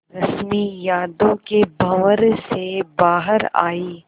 रश्मि यादों के भंवर से बाहर आई